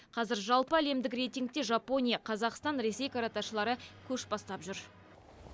қазір жалпы әлемдік рейтингте жапония қазақстан ресей каратэшылары көш бастап жүр